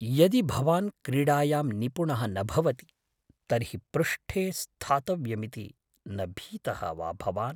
यदि भवान् क्रीडायां निपुणः न भवति तर्हि पृष्ठे स्थातव्यमिति न भीतः वा भवान्?